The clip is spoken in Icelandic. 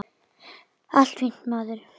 Allt fínt, maður.